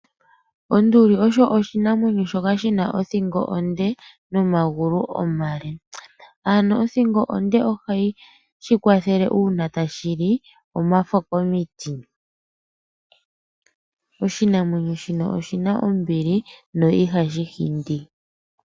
Onduli osho oshinamwenyo shoka shina othingo onde nomagulu omale. Ano othingo onde oha yi shikwathele uuna tashili omafo komiti. Oshinamwenyo shino oshina ombili no ihashi hindi.